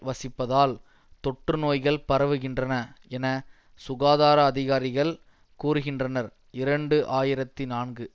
வசிப்பதால் தொற்றுநோய்கள் பரவுகின்றன என சுகாதார அதிகாரிகள் கூறுகின்றனர் இரண்டு ஆயிரத்தி நான்கு